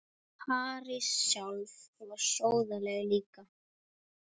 París sjálf var sóðaleg líka.